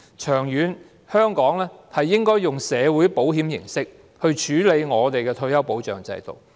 長遠而言，香港應該採用社會保險的形式來處理退休保障制度。